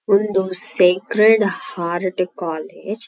ಇಂದು sacred heart college .